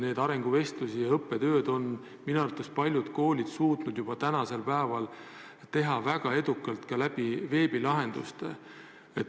Neid arenguvestlusi ja õppetööd on minu arvates paljud koolid suutnud juba praegu teha väga edukalt ka läbi veebilahenduste.